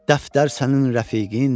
Dəftər sənin rəfiqin.